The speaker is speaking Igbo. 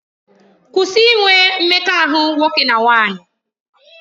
Kwụsị inwe mmekọahụ nwoke na nwaanyị!